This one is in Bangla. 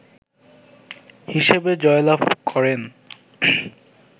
হিসেবে জয়লাভ করেন